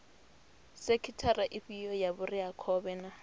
sekhithara ifhio ya vhureakhovhe na